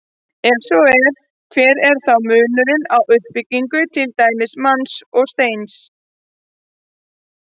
Og ef svo er, hver er þá munurinn á uppbyggingu til dæmis manns og steins?